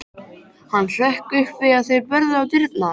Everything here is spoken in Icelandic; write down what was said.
Hann hrökk upp við að þeir börðu á dyrnar.